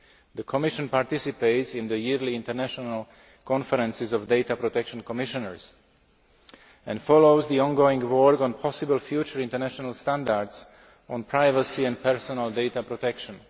The Commission participates in the yearly international conferences of Data Protection Commissioners and follows the ongoing work on possible future international standards on privacy and personal data protection.